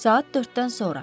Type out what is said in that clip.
Saat 4-dən sonra.